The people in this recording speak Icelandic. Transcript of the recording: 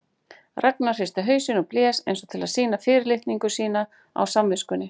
Ragnar hristi hausinn og blés eins og til að sýna fyrirlitningu sína á samviskunni.